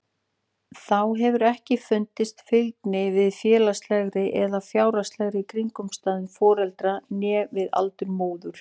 Þá hefur ekki fundist fylgni við félagslegar eða fjárhagslegar kringumstæður foreldra né við aldur móður.